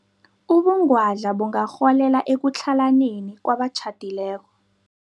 Ubungwadla bungarholela ekutlhalaneni kwabatjhadileko.